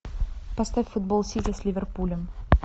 поставь футбол сити с ливерпулем